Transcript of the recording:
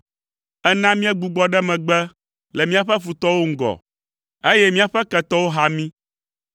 Èna míegbugbɔ ɖe megbe le míaƒe futɔwo ŋgɔ, eye míaƒe ketɔwo ha mí.